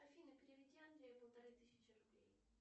афина переведи андрею полторы тысячи рублей